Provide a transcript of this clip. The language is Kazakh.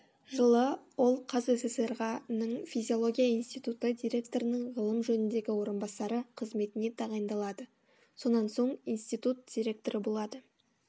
жылы ол қазсср ға ның физиология институты директорының ғылым жөніндегі орынбасары қызметіне тағайындалады сонан соң институт директоры болады